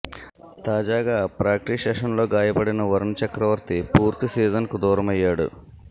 తాజాగా ప్రాక్టీస్ సెషన్స్లో గాయపడిన వరుణ్ చక్రవర్తి పూర్తి సీజన్కు దూరమయ్యాడు